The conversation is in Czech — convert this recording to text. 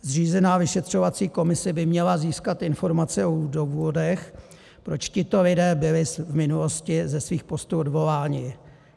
Zřízená vyšetřovací komise by měla získat informace o důvodech, proč tito lidé byli v minulosti ze svých postů odvoláni.